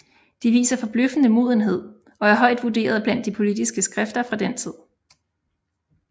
De viser forbløffende modenhed og er højt vurderet blandt de politiske skrifter fra den tid